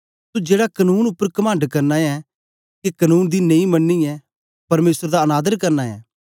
तू जेड़ा कनून उपर कमंड करना ऐ के कनून दी नेई मनियै परमेसर दा अनादर करना ऐं